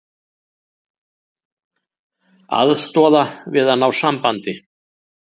Aðstoða við að ná sambandi